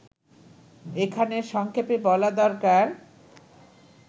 এখানে সংক্ষেপে বলা দরকার